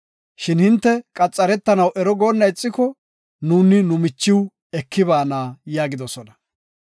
Shin hinte qaxaretanaw ero goonna ixiko, nuuni nu michiw eki baana” yaagidosona.